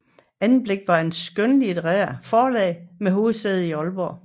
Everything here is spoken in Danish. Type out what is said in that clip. Anblik var et skønlitterært forlag med hovedsæde i Aalborg